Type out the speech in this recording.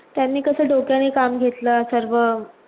त्यांनी कसं डोक्याने काम घेतलं सर्व